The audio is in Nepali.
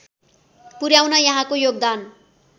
पुर्‍याउन यहाँको योगदान